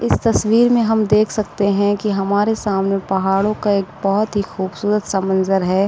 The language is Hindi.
इस तस्वीर में हम देख सकते है कि हमारे सामने पहाड़ों का एक बोहोत ही खूबसूरत -सा मंजर हैं।